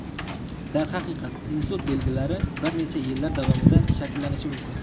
Darhaqiqat, insult belgilari bir necha yillar davomida shakllanishi mumkin.